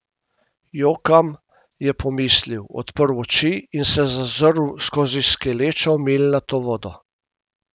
Jokam, je pomislil, odprl oči in se zazrl skozi skelečo milnato vodo.